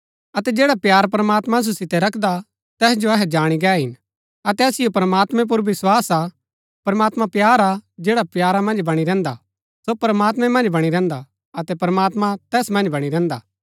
अतै जैडा प्‍यार प्रमात्मां असु सितै रखदा तैस जो अहै जाणी गै हिन अतै असिओ प्रमात्मैं पुर विस्वास हा प्रमात्मां प्‍यार हा जैडा प्यारा मन्ज बणी रहन्‍दा सो प्रमात्मैं मन्ज बणी रहन्‍दा अतै प्रमात्मां तैस मन्ज बणी रहन्‍दा